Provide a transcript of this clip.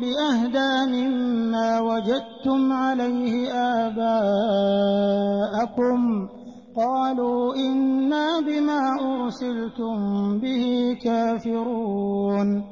بِأَهْدَىٰ مِمَّا وَجَدتُّمْ عَلَيْهِ آبَاءَكُمْ ۖ قَالُوا إِنَّا بِمَا أُرْسِلْتُم بِهِ كَافِرُونَ